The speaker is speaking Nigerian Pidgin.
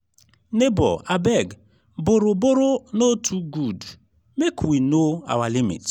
nebor abeg borrow-borrow no too good make we know our limit.